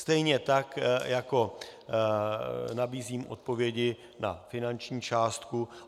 Stejně tak jako nabízím odpovědi na finanční částku.